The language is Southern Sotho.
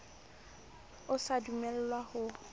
o sa dumellwang wa ho